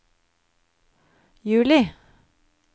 juli